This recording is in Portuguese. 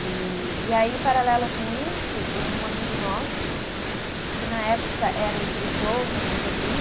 E, e aí, paralelo com isso, um amigo nosso, que na época era o diretor da companhia,